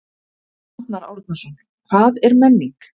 Arnar Árnason: Hvað er menning?